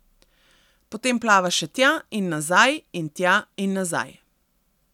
Potem plava še tja in nazaj in tja in nazaj.